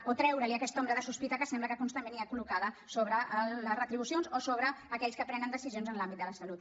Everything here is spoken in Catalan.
o treure aquesta ombra de sospita que sembla que constantment hi ha collocada sobre les retribucions o sobre aquells que prenen decisions en l’àmbit de la salut